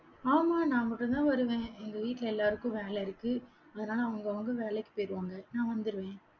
ஆமா, நான் மட்டும்தான் வருவேன். எங்க வீட்டுல எல்லாருக்கும் வேலை இருக்கு. அதனால, அவங்கவங்க வேலைக்கு போயிடுவாங்க. நான் வந்துருவேன்